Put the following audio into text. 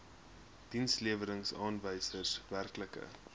dienslewerings aanwysers werklike